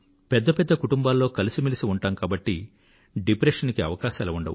పెద్ద పెద్ద కుటుంబాలలో కలసిమెలసి ఉంటాం కాబట్టి డిప్రెషన్ కు ఆస్కారం ఉండదు